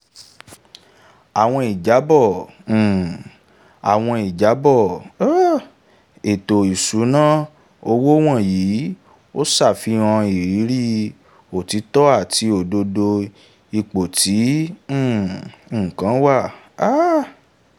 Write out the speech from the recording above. àwọn ìjábọ̀ um àwọn ìjábọ̀ um ètò ìṣúná owó wọ̀nyí ò ṣàfihàn ìrírí òtítọ́ àti òdodo ipò tí um nǹkan wà. um